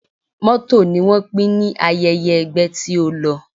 Mọ́tò ni wọ́n pín ní ayẹyẹ ẹgbẹ́ tí ó lọ